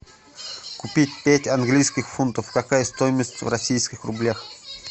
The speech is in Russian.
купить пять английских фунтов какая стоимость в российских рублях